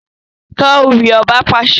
Ká ewì! Ọba pàṣẹ!